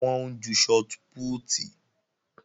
Wọ́n ń ju shọt pútì